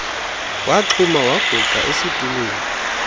waxhuma wagungqa esitulweni